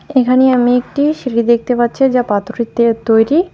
এইখানে আমি একটি সিঁড়ি দেখতে পাচ্ছি যা পাথরের দিয়ে তৈরি।